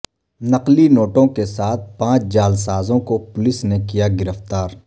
نقلی نو ٹو ں کے ساتھ پانچ جعلسازو ں کو پو لس نے کیا گرفتار